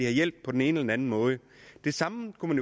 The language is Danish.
hjælp på den ene eller anden måde det samme kunne